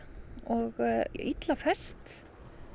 og illa fest